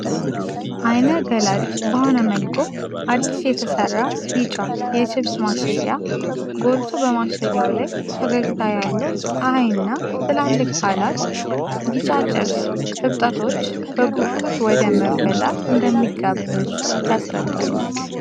ዓይነ-ገላጭ በሆነ መልኩ፣ አዲስ የተሰራ ቢጫ የቺፕስ ማሸጊያ ጎልቶ በማሸጊያው ላይ ፈገግታ ያለው ፀሀይና ትላልቅ ቃላት፣ ቢጫ ቺፕስ እብጠቶች በጉጉት ወደ መብላት እንደሚጋብዙ ያስረዳሉ።